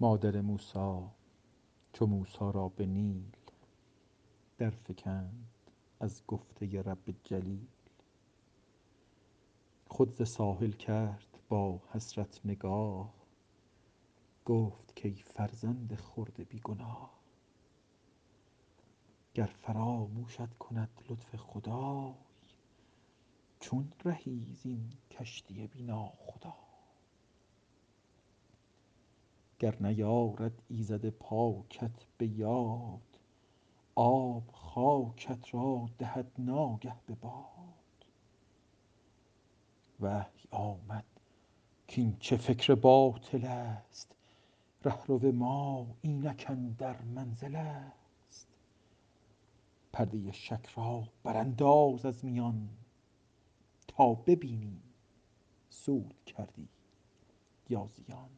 مادر موسی چو موسی را به نیل در فکند از گفته رب جلیل خود ز ساحل کرد با حسرت نگاه گفت کای فرزند خرد بی گناه گر فراموشت کند لطف خدای چون رهی زین کشتی بی ناخدای گر نیارد ایزد پاکت به یاد آب خاکت را دهد ناگه به باد وحی آمد کاین چه فکر باطل است رهرو ما اینک اندر منزل است پرده شک را برانداز از میان تا ببینی سود کردی یا زیان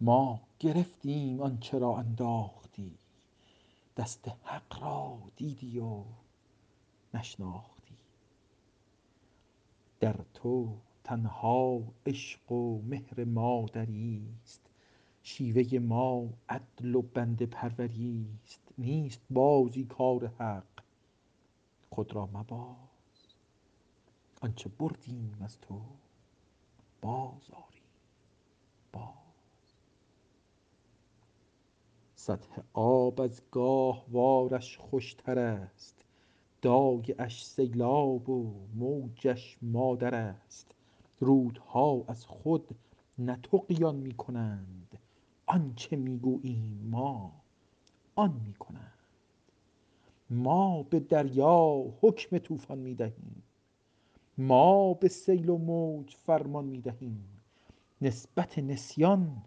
ما گرفتیم آنچه را انداختی دست حق را دیدی و نشناختی در تو تنها عشق و مهر مادری است شیوه ما عدل و بنده پروری است نیست بازی کار حق خود را مباز آنچه بردیم از تو باز آریم باز سطح آب از گاهوارش خوشتر است دایه اش سیلاب و موجش مادر است رودها از خود نه طغیان میکنند آنچه میگوییم ما آن میکنند ما به دریا حکم طوفان میدهیم ما به سیل و موج فرمان میدهیم نسبت نسیان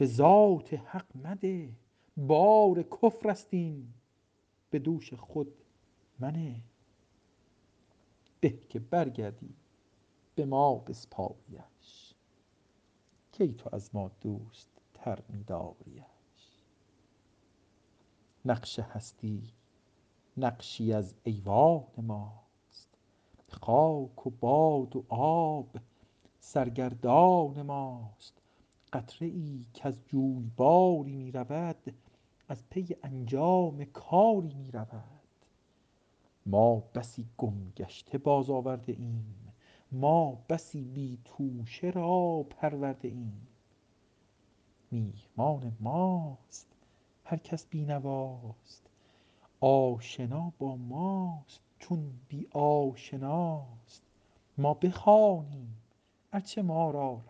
بذات حق مده بار کفر است این بدوش خود منه به که برگردی بما بسپاریش کی تو از ما دوست تر میداریٖش نقش هستی نقشی از ایوان ماست خاک و باد و آب سرگردان ماست قطره ای کز جویباری میرود از پی انجام کاری میرود ما بسی گم گشته باز آورده ایم ما بسی بی توشه را پرورده ایم میهمان ماست هر کس بینواست آشنا با ماست چون بی آشناست ما بخوانیم ار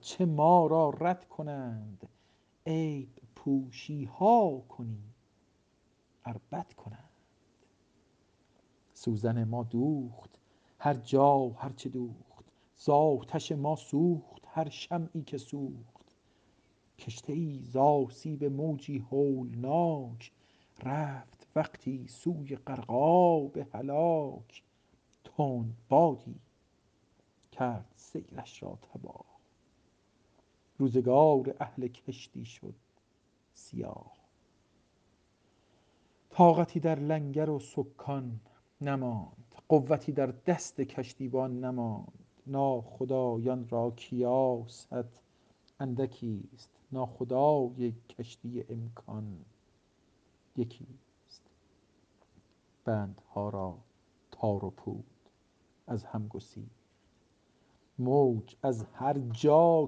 چه ما را رد کنند عیب پوشیها کنیم ار بد کنند سوزن ما دوخت هر جا هر چه دوخت زاتش ما سوخت هر شمعی که سوخت کشتیی زاسیب موجی هولناک رفت وقتی سوی غرقاب هلاک تند بادی کرد سیرش را تباه روزگار اهل کشتی شد سیاه طاقتی در لنگر و سکان نماند قوتی در دست کشتیبان نماند ناخدایان را کیاست اندکیست ناخدای کشتی امکان یکیست بندها را تار و پود از هم گسیخت موج از هر جا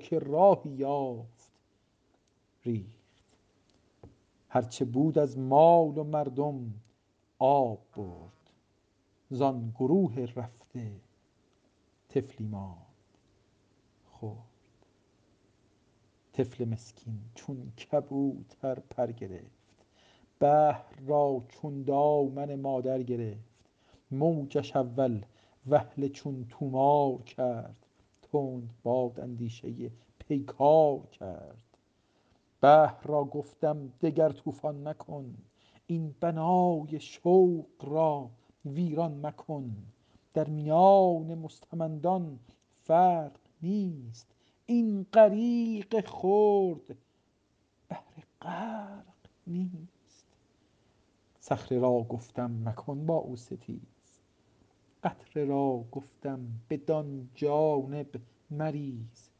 که راهی یافت ریخت هر چه بود از مال و مردم آب برد زان گروه رفته طفلی ماند خرد طفل مسکین چون کبوتر پر گرفت بحر را چون دامن مادر گرفت موجش اول وهله چون طومار کرد تند باد اندیشه پیکار کرد بحر را گفتم دگر طوفان مکن این بنای شوق را ویران مکن در میان مستمندان فرق نیست این غریق خرد بهر غرق نیست صخره را گفتم مکن با او ستیز قطره را گفتم بدان جانب مریز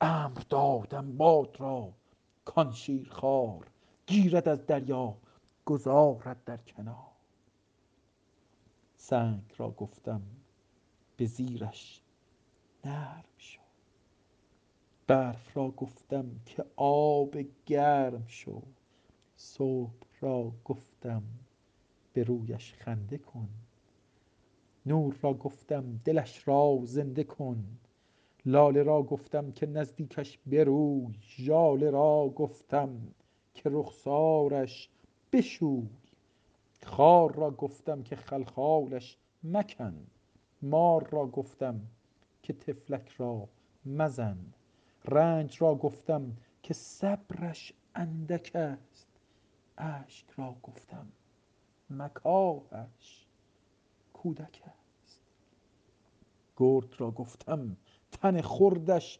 امر دادم باد را کان شیرخوار گیرد از دریا گذارد در کنار سنگ را گفتم بزیرش نرم شو برف را گفتم که آب گرم شو صبح را گفتم به رویش خنده کن نور را گفتم دلش را زنده کن لاله را گفتم که نزدیکش بروی ژاله را گفتم که رخسارش بشوی خار را گفتم که خلخالش مکن مار را گفتم که طفلک را مزن رنج را گفتم که صبرش اندک است اشک را گفتم مکاهش کودک است گرگ را گفتم تن خردش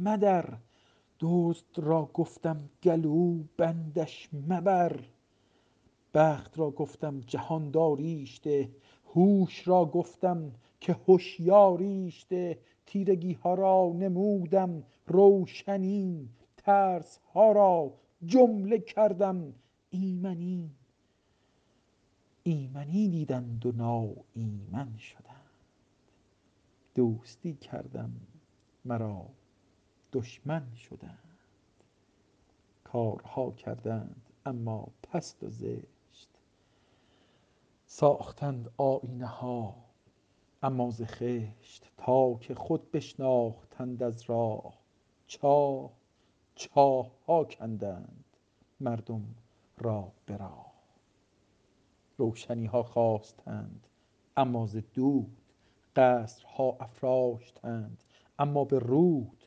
مدر دزد را گفتم گلوبندش مبر بخت را گفتم جهانداریش ده هوش را گفتم که هشیاریش ده تیرگیها را نمودم روشنی ترسها را جمله کردم ایمنی ایمنی دیدند و ناایمن شدند دوستی کردم مرا دشمن شدند کارها کردند اما پست و زشت ساختند آیینه ها اما ز خشت تا که خود بشناختند از راه چاه چاهها کندند مردم را به راه روشنیها خواستند اما ز دود قصرها افراشتند اما به رود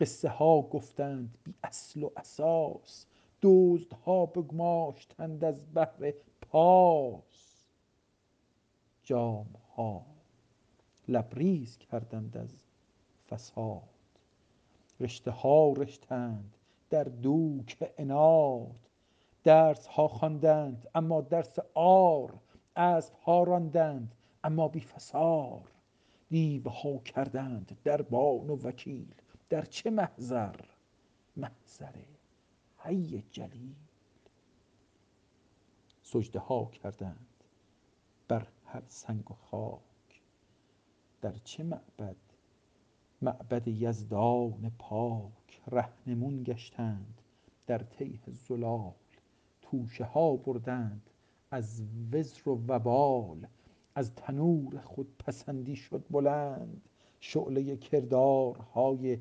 قصه ها گفتند بی اصل و اساس دزدها بگماشتند از بهر پاس جامها لبریز کردند از فساد رشته ها رشتند در دوک عناد درسها خواندند اما درس عار اسبها راندند اما بی فسار دیوها کردند دربان و وکیل در چه محضر محضر حی جلیل سجده ها کردند بر هر سنگ و خاک در چه معبد معبد یزدان پاک رهنمون گشتند در تیه ضلال توشه ها بردند از وزر و وبال از تنور خودپسندی شد بلند شعله کردارهای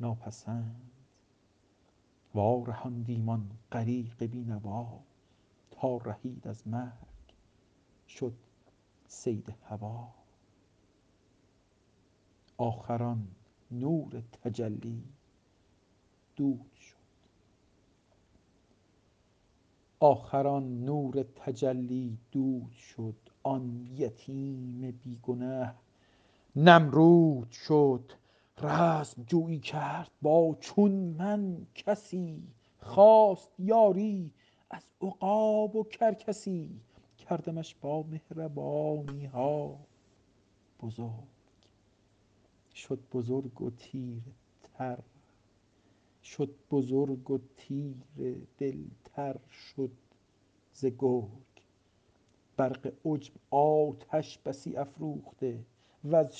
ناپسند وارهاندیم آن غریق بی نوا تا رهید از مرگ شد صید هویٰ آخر آن نور تجلی دود شد آن یتیم بی گنه نمرود شد رزمجویی کرد با چون من کسی خواست یاری از عقاب و کرکسی کردمش با مهربانیها بزرگ شد بزرگ و تیره دلتر شد ز گرگ برق عجب آتش بسی افروخته وز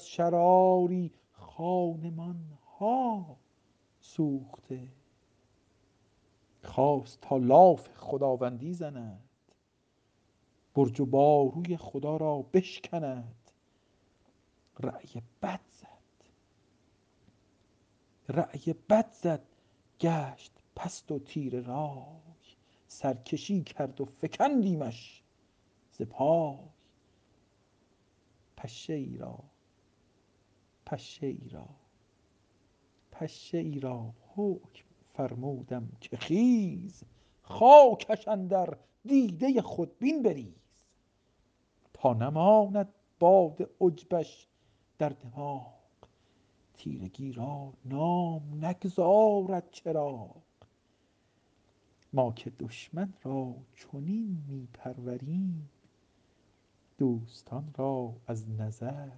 شراری خانمان ها سوخته خواست تا لاف خداوندی زند برج و باروی خدا را بشکند رای بد زد گشت پست و تیره رای سرکشی کرد و فکندیمش ز پای پشه ای را حکم فرمودم که خیز خاکش اندر دیده خودبین بریز تا نماند باد عجبش در دماغ تیرگی را نام نگذارد چراغ ما که دشمن را چنین میپروریم دوستان را از نظر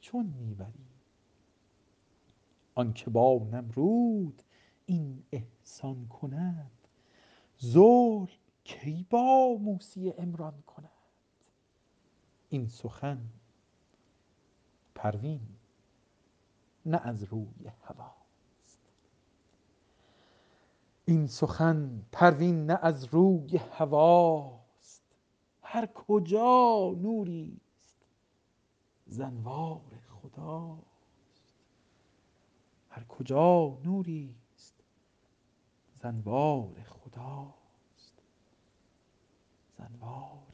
چون میبریم آنکه با نمرود این احسان کند ظلم کی با موسی عمران کند این سخن پروین نه از روی هویٰ ست هر کجا نوری است ز انوار خداست